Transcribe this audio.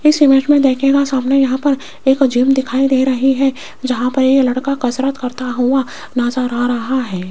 इस इमेज में देखिएगा सामने यहां पर एक जिम दिखाई दे रही है जहां पर ये लड़का कसरत करता हुआ नजर आ रहा है।